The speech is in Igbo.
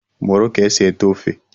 Mụrụ ka e si ete ofe!